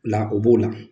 O la o b'o la